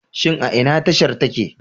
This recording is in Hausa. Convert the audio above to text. Shin a ina tashar take?